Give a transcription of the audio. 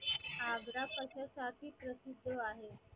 आग्रा कशासाठी प्रसिद्ध आहे